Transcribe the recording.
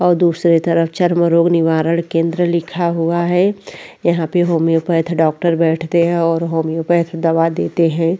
और दूसरी तरफ चरम रोग निवारण केन्द्र लिखा हुआ है यहाँ पे होमियोपैथ डॉक्टर बैठते हैं और होमियोपैथ दवा देते है।